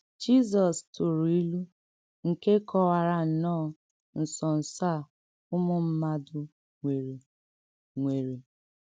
Jizọs tụrụ̀ ìlù nke kọ̀wárà nnọọ̀ ǹsọ́nsọ̀ à ùmù mmádù nwèrè. nwèrè.